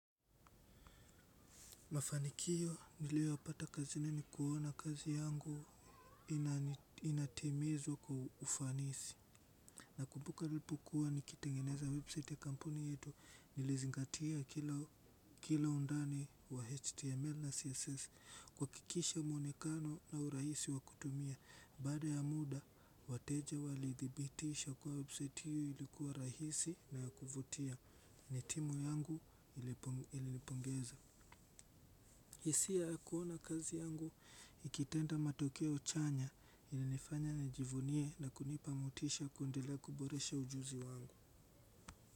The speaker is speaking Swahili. Mafanikio nilioyapata kazini ni kuona kazi yangu inatimizwa kwa ufanisi. Nakumbuka nilipokuwa nikitengeneza website ya kampuni yetu nilizingatia kila undani wa html na css kuhakikisha muonekano na urahisi wa kutumia. Baada ya muda wateja wali thibitisha kuwa website hiyo ilikuwa rahisi na ya kuvutia. Na timu yangu ilinipongeza hisia ya kuona kazi yangu ikitenda matokeo chanya inanifanya nijivunie na kunipa motisha ya kuendela kuboresha ujuzi wangu.